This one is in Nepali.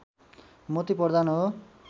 मोती प्रधान हो